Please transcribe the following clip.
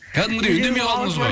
кәдімгідей үндемей қалдыңыз ғой